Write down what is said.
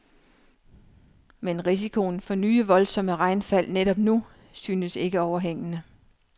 Men risikoen for nye voldsomme regnfald netop nu synes ikke overhængende.